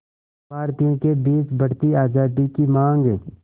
भारतीयों के बीच बढ़ती आज़ादी की मांग